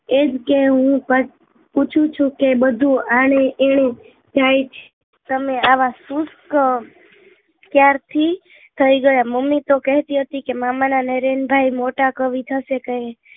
એમ કે હું પુછુ છું કે બધું આને એને કઈક તમે આવા શુષ્ક ક્યારથી થઇ ગયા મમ્મી તો કહેતી હતી કે મામા નાં નરેન ભાઈ મોટા કવિ થશે કહી